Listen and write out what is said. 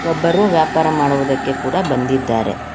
ಒಬ್ಬರು ವ್ಯಾಪಾರ ಮಾಡುವುದಕ್ಕೆ ಕೂಡ ಬಂದಿದ್ದಾರೆ.